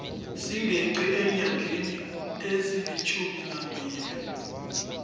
singeqi eenyangeni ezilitjhuminambili